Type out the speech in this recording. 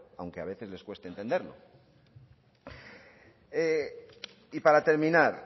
aunque a veces les cueste entenderlo y para terminar